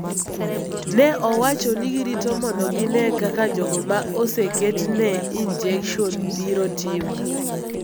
Ne owacho ni girito mondo gine kaka jogo ma oseketne injekson biro timo